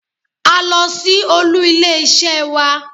A lọ sí olú ilé isé wa